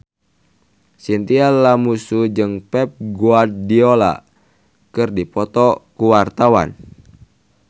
Chintya Lamusu jeung Pep Guardiola keur dipoto ku wartawan